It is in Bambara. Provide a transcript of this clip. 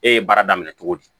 E ye baara daminɛ cogo di